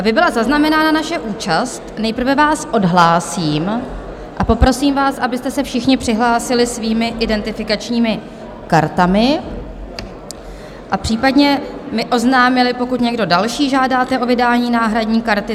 Aby byla zaznamenána naše účast, nejprve vás odhlásím a poprosím vás, abyste se všichni přihlásili svými identifikačními kartami a případně mi oznámili, pokud někdo další žádáte o vydání náhradní karty.